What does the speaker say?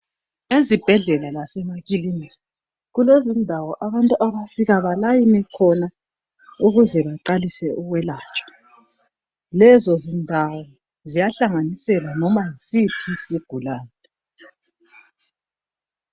Ezibhedlela lasemakilinika kulezindawo abantu abafika befole khona ukuze baqalise ukwelatshwa lezo zindawo ziyahlanganiselwa noma yisiphi isigulane.